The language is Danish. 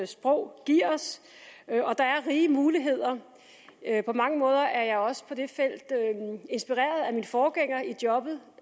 sprog giver os og der er rige muligheder på mange måder er jeg også på det felt inspireret af min forgænger i jobbet